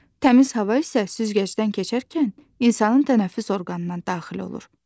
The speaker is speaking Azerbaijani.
Təmiz hava isə süzgəcdən keçərkən insanın tənəffüs orqanına daxil olur.